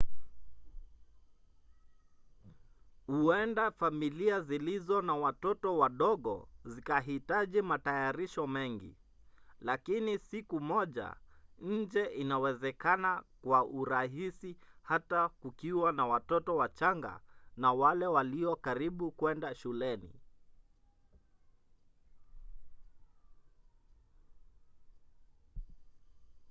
huenda familia zilizo na watoto wadogo zikahitaji matayarisho mengi lakini siku moja nje inawezekana kwa urahisi hata kukiwa na watoto wachanga na wale walio karibu kwenda shuleni